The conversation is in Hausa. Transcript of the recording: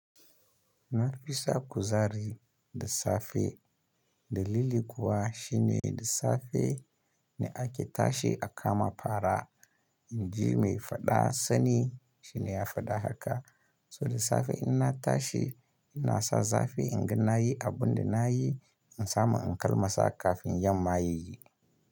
Na fi sa kuzari da safe, dalili kuwa shine da safe ne ake tashi a kama fara inji mai faɗa sani shine ya faɗa haka. So da safe ina tashi ina sa zafi inga nayi abun da nayi, in samu in kalmasa kafin yamma yayi.